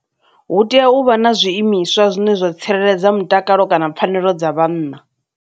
Hu tea u vha na zwiimiswa zwine zwa tsireledza mutakalo kana pfhanelo dza vhanna.